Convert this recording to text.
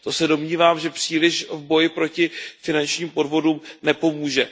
To se domnívám, že příliš v boji proti finančním podvodům nepomůže.